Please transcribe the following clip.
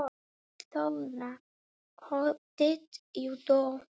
Þóra: Hvernig varð þér við?